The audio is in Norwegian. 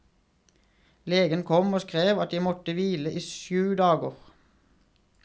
Legen kom og skrev at jeg måtte hvile i sju dager.